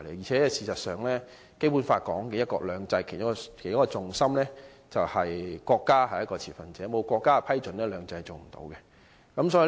事實上，《基本法》訂明的"一國兩制"的其中一個重心，便是國家是一個持份者，沒有國家的批准，"兩制"是無法落實的。